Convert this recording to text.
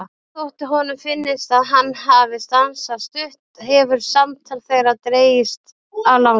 Og þótt honum finnist að hann hafi stansað stutt hefur samtal þeirra dregist á langinn.